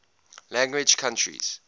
language countries